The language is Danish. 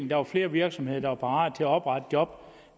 der var flere virksomheder der var parate til at oprette job